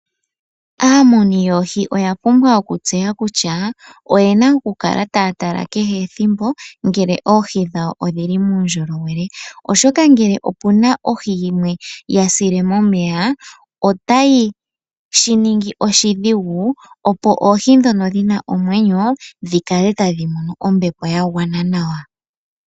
Aamuni yoohi oya pumbwa oku tseya kutya oye na oku kala taya tala kehe ethimbo ngele oohi dhawo odhi li muundjolowele. Oshoka ngele opu na ohi yimwe ya sile momeya, otayi shi ningi oshidhigu opo oohi ndhono dhi li momeya dhi kale tadhi mono ombepo ya gwana nawa.